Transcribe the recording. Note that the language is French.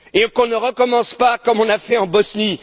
Qu'on ne recommence pas comme on a fait en Bosnie.